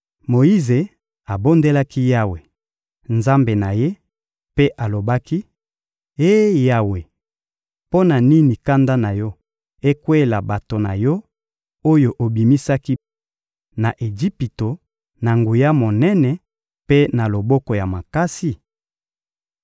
Moyize abondelaki Yawe, Nzambe na ye, mpe alobaki: — Eh Yawe! Mpo na nini kanda na Yo ekweyela bato na Yo, oyo obimisaki na Ejipito, na nguya monene mpe na loboko ya makasi?